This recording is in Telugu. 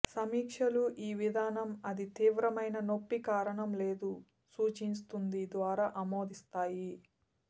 సమీక్షలు ఈ విధానం అది తీవ్రమైన నొప్పి కారణం లేదు సూచిస్తుంది ద్వారా ఆమోదిస్తాయి